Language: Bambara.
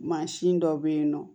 Mansin dɔ bɛ yen nɔ